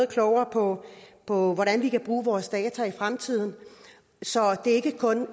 klogere på hvordan vi kan bruge vores data i fremtiden så det ikke kun